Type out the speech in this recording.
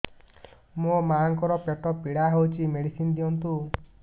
ମୋ ମାଆଙ୍କର ପେଟ ପୀଡା ହଉଛି ମେଡିସିନ ଦିଅନ୍ତୁ